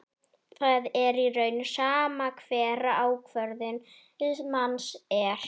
Það er í raun sama hver ákvörðun manns er.